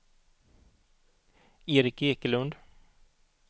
Erik Ekelund